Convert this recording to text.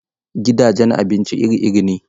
Gidajen abinci iri iri ne.